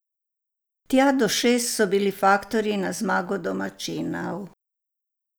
Tja do šest so bili faktorji na zmago domačinov.